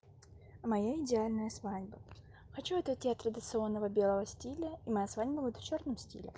моя идеальная свадьба хочу отойти от традиционного белого стиля и моя свадьба будет в чёрном стиле